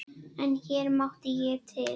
En hér mátti ég til.